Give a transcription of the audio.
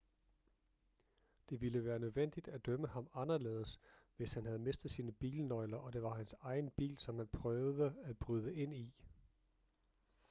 det ville være nødvendigt at dømme ham anderledes hvis han havde mistet sine bilnøgler og det var hans egen bil som han prøvede at bryde ind i